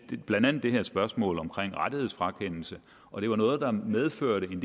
blandt andet det her spørgsmål omkring rettighedsfrakendelse og det var noget der medførte en